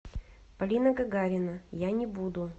полина гагарина я не буду